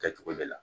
Kɛcogo de la